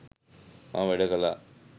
මම වැඩ කළා.